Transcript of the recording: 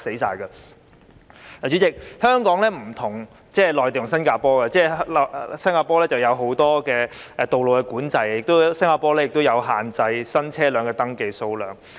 代理主席，香港與內地和新加坡不同，新加坡有很多道路管制，亦限制新車輛的登記數量。